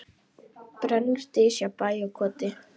Brennur dys hjá bæ og koti.